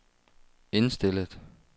indstillet